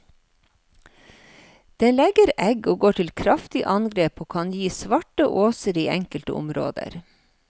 Den legger egg og går til kraftig angrep og kan gi svarte åser i enkelte områder.